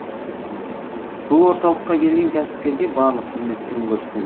бұл орталыққа келген кәсіпкерге барлық қызмет түрін көрсетем